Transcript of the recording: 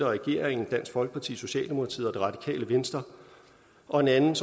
regeringen dansk folkeparti socialdemokratiet og radikale venstre og det andet